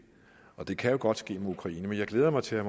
og det kan jo godt ske med ukraine men jeg glæder mig til at